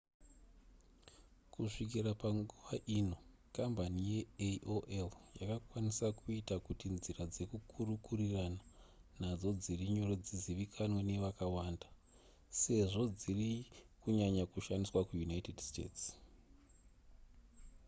kusvikira panguva ino kambani yeaol yakakwanisa kuita kuti nzira dzekukurukurirana nadzo dziri nyore dzizivikanwe nevakawanda sezvo dziri kunyanya kushandiswa kuunited states